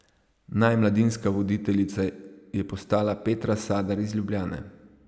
Naj mladinska voditeljica je postala Petra Sadar iz Ljubljane.